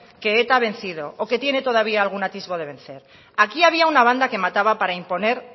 que eta ha vencido o que tiene todavía algún atisbo de vencer aquí había una banda que mataba para imponer